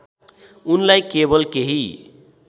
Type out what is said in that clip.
उनलाई केवल केही